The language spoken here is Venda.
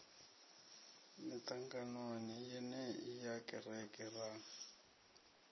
miṱanganoni yenei ya kereke ra